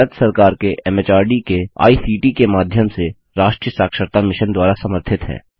भारत सरकार के एमएचआरडी के आईसीटी के माध्यम से राष्ट्रीय साक्षरता मिशन द्वारा समर्थित है